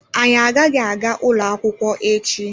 Anyị agaghị aga ụlọ akwụkwọ echi